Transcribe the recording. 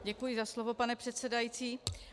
Děkuji za slovo, pane předsedající.